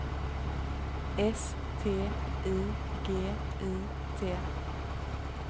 S T I G I T